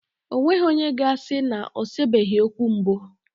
E nweghi onye ga-asi na o sebeghi okwu mbụ